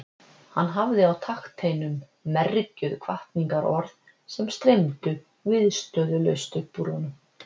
Hann hafði á takteinum mergjuð hvatningarorð sem streymdu viðstöðulaust upp úr honum.